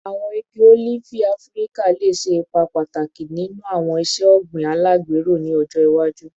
Awọn igi olifi Afirika le ṣe ipa pataki ninu awọn iṣe ogbin alagbero ni ọjọ iwaju